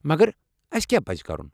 مگر، اسہِ کیٛاہ پزِ کرُن؟